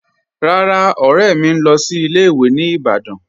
Rárá, ọ̀rẹ̀ mì ń lọ́ sí ilẹ̀-ìwé̀ ní Ìbàdàn.